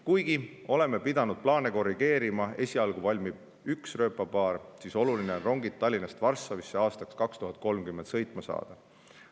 Kuigi oleme pidanud plaane korrigeerima ning esialgu valmib üks rööpapaar, siis oluline on aastaks 2030 rongid Tallinnast Varssavisse sõitma saada.